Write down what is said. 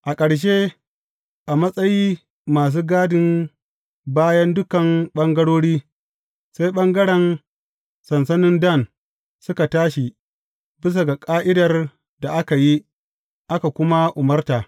A ƙarshe, a matsayi masu gadin bayan dukan ɓangarori, sai ɓangaren sansanin Dan suka tashi bisa ga ƙa’idar da aka yi, aka kuma umarta.